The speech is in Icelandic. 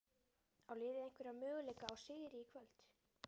Á liðið einhverja möguleika á sigri í kvöld?